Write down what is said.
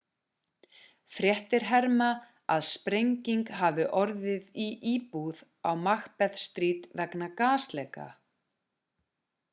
fréttir herma að sprenging hafi orðið í íbúð á macbeth street vegna gasleka